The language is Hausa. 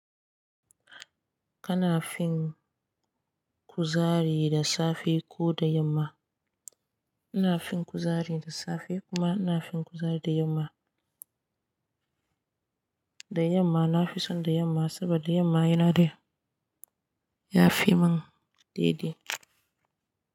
Kana fin kuzari da safe ko da yamma? Ina fin kuzari da safe kuma ina fin kuzari da yamma. Da yamma nafi son da yamma sabida yamma yana da. Ya fi mun daidai.